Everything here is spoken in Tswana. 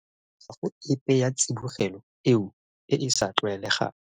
Ga go epe ya tsibogelo eo e e sa tlwaelegang.